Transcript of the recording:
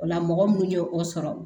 O la mɔgɔ minnu ye o sɔrɔ